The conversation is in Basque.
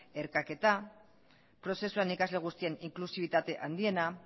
erkaketa prozesuan ikasle guztien inklusibitate handiena